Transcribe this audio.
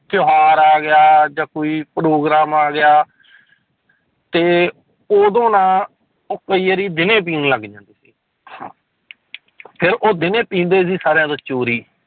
ਤਿਉਹਾਰ ਆ ਗਿਆ ਜਾਂ ਕੋਈ ਪ੍ਰੋਗਰਾਮ ਆ ਗਿਆ ਤੇ ਉਦੋਂ ਨਾ ਉਹ ਕਈ ਵਾਰੀ ਦਿਨੇ ਪੀਣ ਲੱਗ ਜਾਂਦੇ ਸੀ ਹਾਂ ਫਿਰ ਉਹ ਦਿਨੇ ਪੀਂਦੇ ਸੀ ਸਾਰਿਆਂ ਤੋਂ ਚੋਰੀ